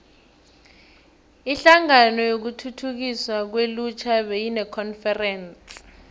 inhlangano yokuthuthukiswa kwelutjha beyinekonferense